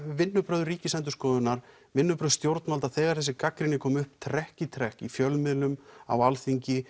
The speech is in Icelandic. vinnubrögð Ríkisendurskoðunar vinnubrögð stjórnvalda þegar þessi gagnrýni kom upp trekk í trekk í fjölmiðlum á Alþingi